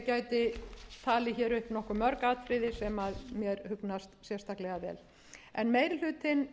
gæti talið hér upp nokkuð mörg atriði sem mér hugnast sérstaklega vel frú forseti meiri hlutinn